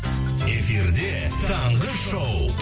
эфирде таңғы шоу